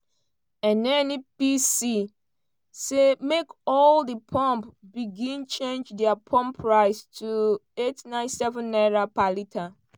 nnpc say make all di pump begin change dia pump price to n897 per litre.